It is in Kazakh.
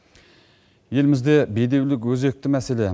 елімізде бедеулік өзекті мәселе